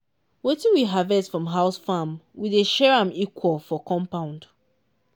wetin we harvest from house farm we dey share am equal for compound.